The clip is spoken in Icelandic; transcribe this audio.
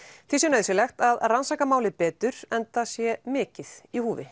því sé nauðsynlegt að að rannsaka málið betur enda sé mikið í húfi